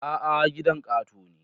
A'a, gidan katako ne